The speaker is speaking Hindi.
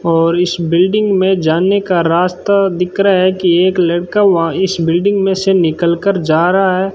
और इस बिल्डिंग में जाने का रास्ता दिख रहा है कि एक लड़का वहां इस बिल्डिंग में से निकाल कर जा रहा है।